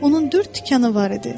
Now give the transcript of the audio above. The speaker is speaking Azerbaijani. Onun dörd tikanı var idi.